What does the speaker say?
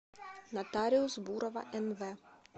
нотариус бурова нв